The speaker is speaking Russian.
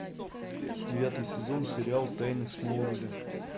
девятый сезон сериал тайны смолвиля